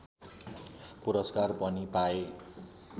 पुरस्कार पनि पाए